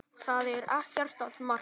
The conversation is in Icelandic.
Það er ekkert að marka.